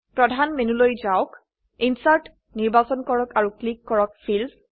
প্ৰধান মেনুলৈ যাওক ইনচাৰ্ট নিৰ্বাচন কৰক আৰু ক্লিক কৰক ফিল্ডছ